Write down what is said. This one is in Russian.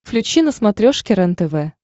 включи на смотрешке рентв